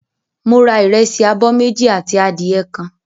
Mo ra ìrẹsì abọ́ méjì àti adìẹ kan.